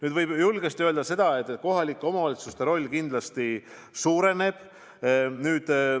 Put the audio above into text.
Aga võib julgesti öelda, et kohalike omavalitsuste roll kindlasti suureneb.